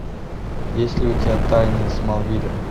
есть ли у тебя тайны смолвиля